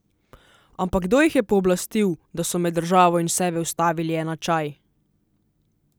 Ampak kdo jih je pooblastil, da so med državo in sebe vstavili enačaj?